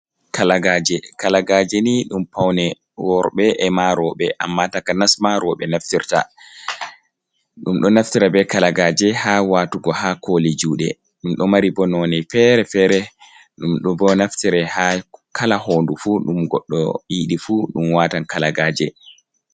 Kalagaaje, kalagaaje ni ɗum pawne worɓe e ma rowɓe, ammaa takanas ma rowɓe naftirta. Ɗum ɗo naftira be kalagaaje haa waatugo haa kooli juuɗe, ɗum ɗo mari bo noone fere-fere, ɗum bo naftira kala hoondu fu, ɗum goɗɗo yiɗi fu, ɗum waatan kalagaaje.